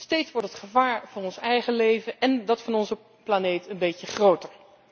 Steeds wordt het gevaar voor ons eigen leven en dat van onze planeet een beetje groter.